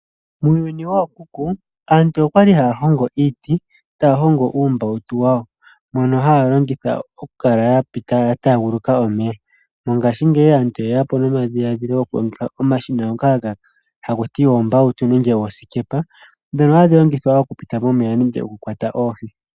Muuyuni wookuku aantu oya li haya hongo iiti taya hongo uumbautu wawo mbono haya longitha okukala ya taaguluka omeya. Mongashingeyi aantu oye ya po nomadhiladhilo gokulongitha iiyenditho mbyoka haku tiwa oombautu nenge oosikepa ndhono hadhi longithwa okupita momeya nenge okukwata oohi.